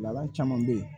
Laban caman bɛ ye